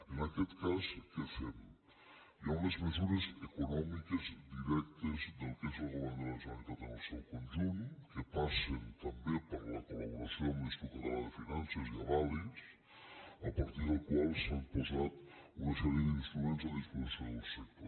en aquest cas què fem hi ha unes mesures econòmiques directes del que és el govern de la generalitat en el seu conjunt que passen també per la colamb l’institut català de finances i avalis a partir dels quals s’han posat una sèrie d’instruments a disposició del sector